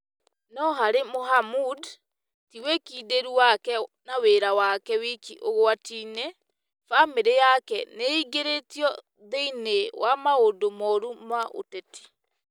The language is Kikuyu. No harĩ Mohamud, ti wĩkindĩru wake na wĩra wake wiki ũgwati-inĩ - bamĩrĩ yake nĩ ingĩrĩtio thĩinĩ wa maũndũ moru ma ũteti ,